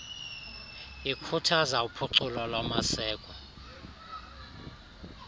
likhuthaza uphuculo lwamaseko